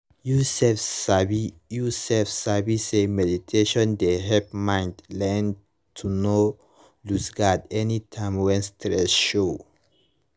you sef sabi you sef sabi say meditation dey help mind learn to nor lose guard anytime when stress show